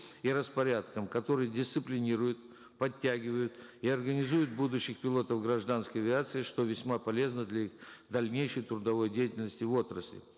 и распорядком который дисциплинирует подтягивает и организует будущих пилотов гражданской авиации что весьма полезно для их дальнейшей трудовой деятельности в отрасли